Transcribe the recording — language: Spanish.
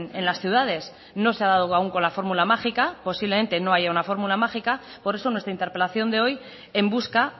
en las ciudades no se ha dado aún con la fórmula mágica posiblemente no haya una fórmula mágica por eso nuestra interpelación de hoy en busca